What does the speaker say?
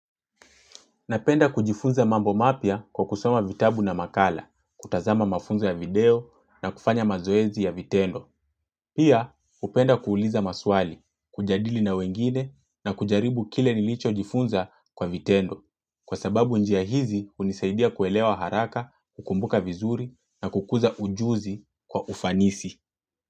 Napenda kujifunza mambo mapya kwa kusoma vitabu na makala, kutazama mafunza ya video na kufanya mazoezi ya vitendo. Pia hupenda kuuliza maswali, kujadili na wengine na kujaribu kile nilicho jifunza kwa vitendo. Kwa sababu njia hizi hunisaidia kuelewa haraka, kukumbuka vizuri na kukuza ujuzi kwa ufanisi.